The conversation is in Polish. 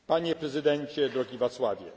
Panie prezydencie, drogi Václavie!